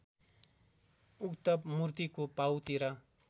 उक्त मूर्तिको पाउतिर